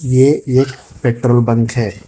ये एक petrol pump है।